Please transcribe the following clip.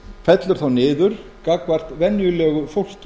fellur þá niður gagnvart venjulegu fólki